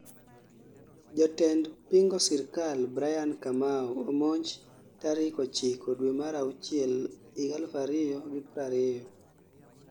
Jatend pingo sirkal Brian Kamau omonj tarik 9 Due mar auchiel 2020